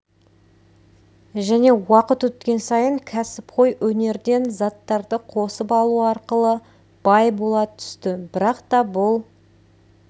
және уақыт өткен сайын кәсіпқой өнерден заттарды қосып алу арқылы бай бола түсті бірақ та бұл